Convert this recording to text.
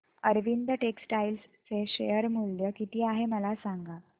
Arvind textile चे share मूल्य किती आहे मला सांगा